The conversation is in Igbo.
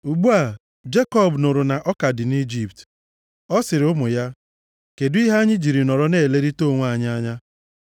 Ugbu a, Jekọb nụrụ na ọka dị nʼIjipt. Ọ sịrị ụmụ ya, “Kedụ ihe anyị jiri nọrọ na-elerịta onwe anyị anya”